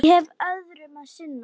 Ég hef öðru að sinna.